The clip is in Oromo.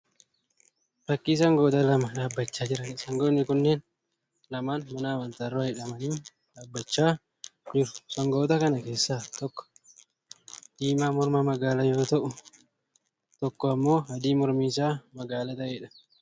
Fakkii sangoota lama dhaabbachaa jiraniidha. Sangoonni kunneen lamaan mana amantaa dura hidhamanii dhaabbachaa jiru. Sangoota kana keessaa tokko diimaa morma magaalaa yoo ta'u tokko immoo adii mormi isaa magaala ta'eedha.